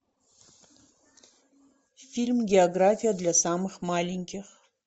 фильм география для самых маленьких